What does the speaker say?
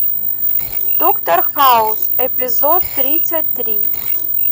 доктор хаус эпизод тридцать три